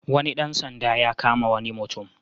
Wani ɗan sanda ya kama wani mutum.